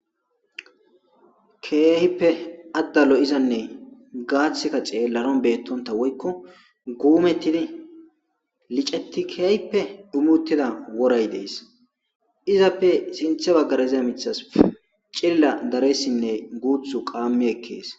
Keehippe adda lo'izanne gaathikka xeelanaw beetonta woykko gumettidi licetti kehippe dhummi uttida woray de'es izappe sinththe baggara diza miththatas cilila daresinne guththu qammi ekkees.